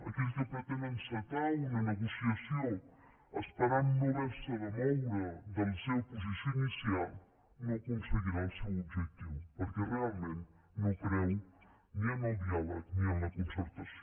aquell que pretén encetar una negociació esperant no haver se de moure de la seva posició inicial no aconseguirà el seu objectiu perquè realment no creu ni en el diàleg ni en la concertació